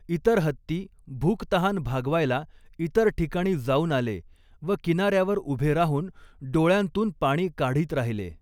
इतर हत्ती भूकतहान भागवायला इतर ठिकाणी जाऊन आले व किनार्यावर उभे राहून डोळ्यांतून पाणी काढीत राहिले.